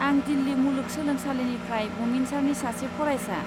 आं दिल्ली मुलुगसोलोंसालिनिफ्राय बुमिनसारनि सासे फरायसा।